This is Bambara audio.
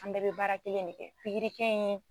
An bɛɛ bɛ baara kelen ne kɛ pigirikɛ in